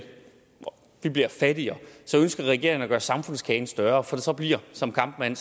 vi bliver fattigere ønsker regeringen at gøre samfundskagen større for så bliver som kampmann